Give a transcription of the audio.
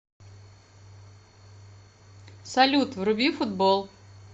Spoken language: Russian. салют вруби футбол